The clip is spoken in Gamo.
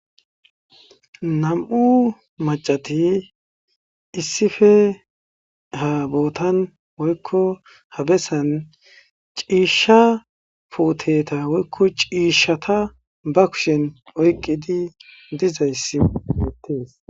Nam7u maccathi issippe ha boothan woykko bessan ciishshaa puutheetha woykko ciishshaatha ba kushen oyqqidi dizayssi beeththees.